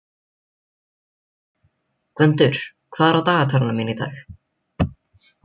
Gvöndur, hvað er á dagatalinu mínu í dag?